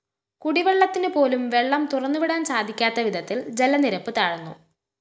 കുടിവെള്ളത്തിനുപോലും വെള്ളം തുറന്നുവിടാന്‍ സാധിക്കാത്തവിധത്തില്‍ ജലനിരപ്പ്‌ താഴ്‌ന്നു